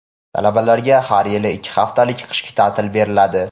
Talabalarga har yilgi ikki haftalik qishki taʼtil beriladi.